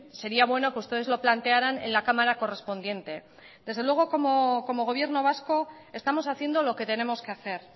sería bueno que ustedes lo plantearan en la cámara correspondiente desde luego como gobierno vasco estamos haciendo lo que tenemos que hacer